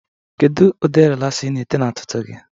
Kedu ụdị rịlaxa ị na-ete na ntutu gị?